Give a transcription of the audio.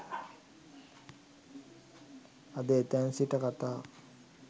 අද එතැන් සිට කතාව